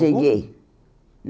Cheguei.